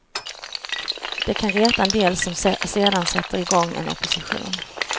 Det kan reta en del som sedan sätter igång en opposition.